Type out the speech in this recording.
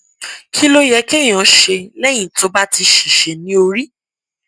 kí ló yẹ kéèyàn ṣe lẹyìn tó bá ti ṣèṣe ní orí